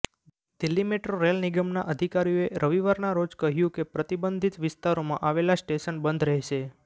Delhi metro rail નિગમના અધિકારીઓએ રવિવારના રોજ કહ્યું કે પ્રતિબંધિત વિસ્તારોમાં આવેલા સ્ટેશન બંધ રહેશે